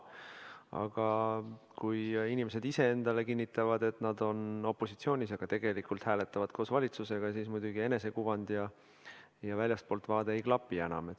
Aga kui inimesed ise endale kinnitavad, et nad on opositsioonis, kuid tegelikult hääletavad koos valitsusega, siis muidugi enesekuvand ja väljastpoolt vaade enam ei klapi.